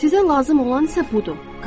Sizə lazım olan isə budur.